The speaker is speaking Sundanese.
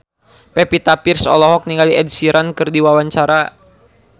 Pevita Pearce olohok ningali Ed Sheeran keur diwawancara